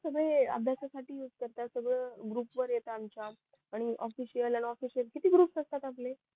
तुम्ही अभ्यासा साठी करता सगळं ग्रुप वर येत आमच्या आणि ऑफिस वाल्याना ऑफिस किती ग्रुप्स असतात आपले